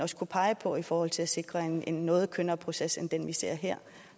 kunne peges på i forhold til at sikre en en noget kønnere proces end den vi ser her